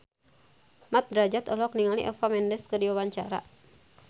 Mat Drajat olohok ningali Eva Mendes keur diwawancara